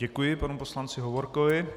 Děkuji panu poslanci Hovorkovi.